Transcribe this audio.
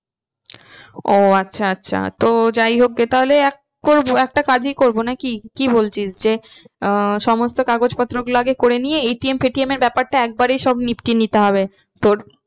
ও আচ্ছা আচ্ছা তো যাই হোক গে তাহলে এক করবো একটা কাজই করবো নাকি কি বলছিস যে আহ সমস্ত কাগজপত্র গুলো আগে করে নিয়ে ATM ফেটিএম এর ব্যাপারটা একবারেই সব নিতে হবে তোর